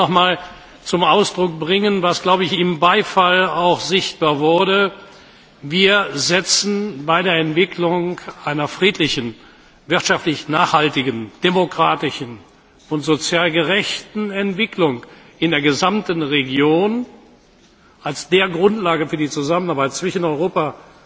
Ich will nochmals zum Ausdruck bringen, was auch im Beifall sichtbar wurde Wir setzen bei der Entwicklung einer friedlichen, wirtschaftlich nachhaltigen, demokratischen und sozial gerechten Entwicklung in der gesamten Region als Grundlage für die Zusammenarbeit zwischen Europa